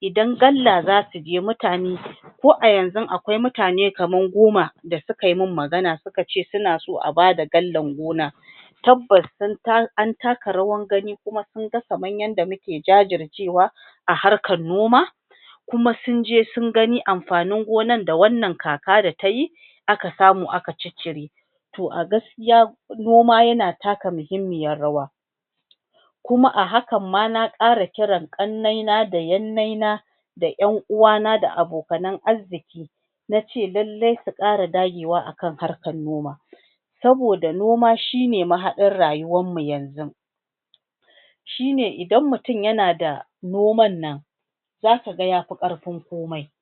Idan galla za su je, mutane ko a yanzun akwai mutane kamar goma da suka yi min magana suka ce suna so a ba da gallan gona Tabbas, an taka rawar gani kuma sun ga kamar yanda muke jajircewa a harkar noma kuma sun je sun gani amfanin gonan da wannan kaka da ta yi aka samu aka ciccire To a gaskiya, noma yana taka muhimmiyar rawa kuma a hakan ma na ƙira ƙiran ƙannena da yannena da ƴan uwana da abokan arziki na ce lalle su ƙara dagewa a kan harekar noma saboda noma shi ne mahaɗin rayuwarmu yanzun shi ne idan mutum yana da noman nan za ka ga ya fi ƙarfin komai.